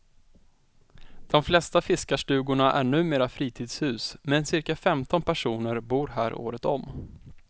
De flesta fiskarstugorna är numera fritidshus men cirka femton personer bor här året om.